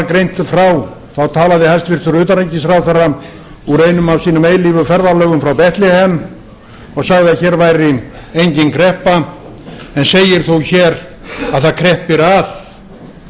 greint frá talaði hæstvirts utanríkisráðherra úr einum af sínum eilífu ferðalögum frá betlehem og sagði að hér væri engin kreppa en segir þó hér að það kreppi að